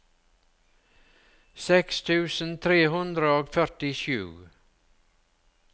seks tusen tre hundre og førtisju